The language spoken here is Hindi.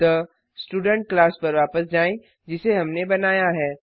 अतः स्टूडेंट क्लास पर वापस जाएँ जिसे हमनें बनाया है